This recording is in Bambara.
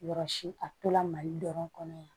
Yɔrɔ si a tola mali dɔrɔn kɔnɔ yan